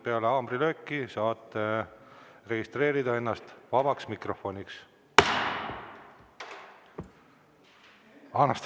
Peale haamrilööki saate registreerida ennast vabas mikrofonis.